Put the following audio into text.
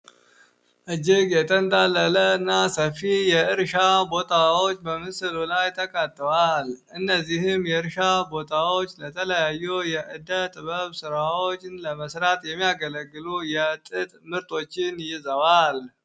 እጅግ የተንዳለለ እና ሰፊ የእርሻ ቦታዎች በምስሉ ላይ ተቀትዋል። እነዚህም የእርሻ ቦታዎች ለተለያዩ የዕደጥበብ ሥራዎችን ለመስራት የሚያገለግሉ የጥጥ ምርቶችን ይዘዋል።